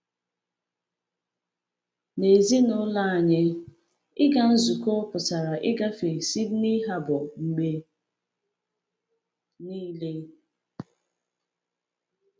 N’ezinụlọ anyị, ịga nzukọ pụtara ịgafe Sydney Harbour mgbe niile.